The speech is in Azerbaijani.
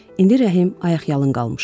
İndi Rəhim ayaqyalın qalmışdı.